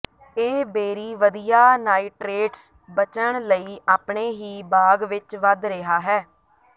ਇਹ ਬੇਰੀ ਵਧੀਆ ਨਾਈਟ੍ਰੇਟਜ਼ ਬਚਣ ਲਈ ਆਪਣੇ ਹੀ ਬਾਗ ਵਿੱਚ ਵਧ ਰਿਹਾ ਹੈ